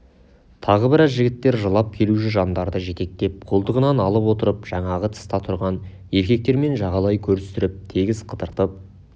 тағы біраз жігіттер жылап келуші жандарды жетектеп қолтығынан алып отырып жаңағы тыста тұрған еркектермен жағалай көрістіріп тегіс қыдыртып